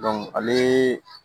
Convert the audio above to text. ale